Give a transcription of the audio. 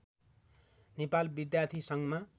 नेपाल विद्यार्थी सङ्घमा